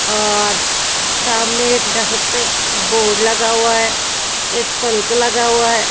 और सामने एक डेस्क पे बोर्ड लगा हुआ है एक पल्क लगा हुआ है।